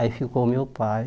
Aí, ficou o meu pai...